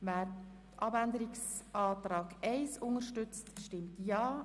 Wer dem Änderungsantrag 4 zustimmen möchte, stimmt Ja,